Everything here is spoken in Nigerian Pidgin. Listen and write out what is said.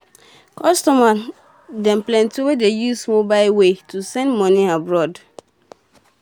customer dem plenty wey dey use mobile way to send moni abroad